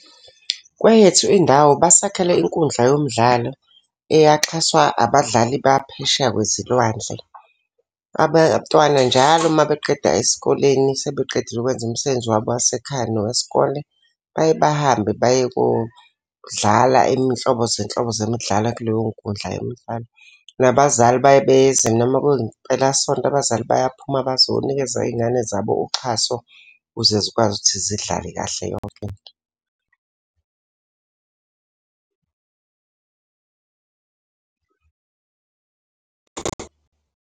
Kweyethu indawo basakhele inkundla yomdlalo eyaxhaswa abadlali baphesheya kwezilwandle. Abantwana njalo uma beqeda esikoleni, sebeqedile ukwenza umsebenzi wabo wasekhaya nowesikole, baye bahambe baye kodlala iminhlobo zenhlobo zemidlalo kuleyo nkundla yomfana. Nabazali baye beze noma kuyimpelasonto, abazali bayaphuma bazonikeza iy'ngane zabo uxhaso, ukuze zikwazi ukuthi zidlale kahle yonke into.